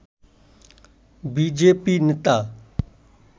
BJP নেতা